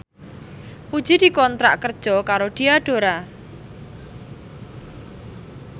Puji dikontrak kerja karo Diadora